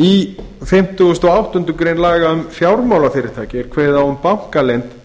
í fimmtugasta og áttundu grein laga um fjármálafyrirtæki er kveðið á um bankaleynd